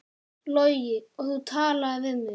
Logi: Og þú talaðir við?